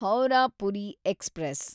Howrah Puri express